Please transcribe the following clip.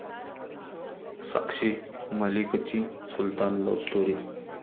साक्षी मलिकची 'Sultan' love story